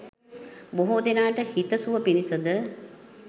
බොහෝ දෙනාට හිතසුව පිණිස ද